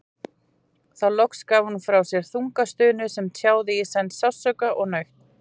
Þá loks gaf hún frá sér þunga stunu sem tjáði í senn sársauka og nautn.